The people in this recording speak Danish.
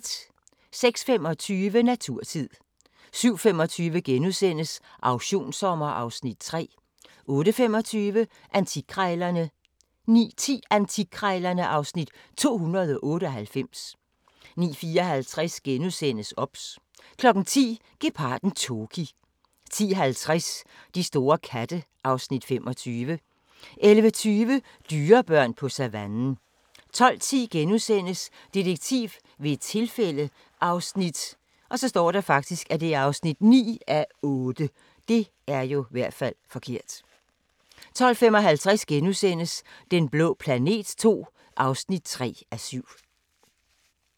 06:25: Naturtid 07:25: Auktionssommer (Afs. 3)* 08:25: Antikkrejlerne 09:10: Antikkrejlerne (Afs. 298) 09:54: OBS * 10:00: Geparden Toki 10:50: De store katte (Afs. 25) 11:20: Dyrebørn på savannen 12:10: Detektiv ved et tilfælde (9:8)* 12:55: Den blå planet II (3:7)*